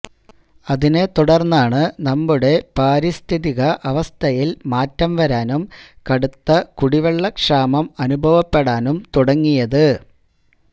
അതിനെത്തുടര്ന്നാണ് നമ്മുടെ പാരിസ്ഥിതിക അവസ്ഥയില് മാറ്റം വരാനും കടുത്ത കുടിവെള്ളക്ഷാമം അനുഭവപ്പെടാനും തുടങ്ങിയത്